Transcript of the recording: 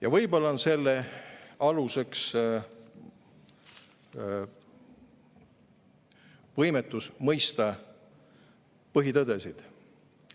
Ja võib-olla on selle põhjus võimetus mõista põhitõdesid.